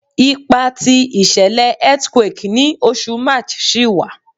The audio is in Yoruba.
Ipa ti ìṣẹlẹ earthquake ni Oṣù March ṣi wa